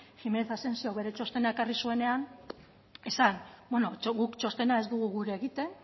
jimenez asensiok bere txostena ekarri zuenean esan guk txostena ez dugu gure egiten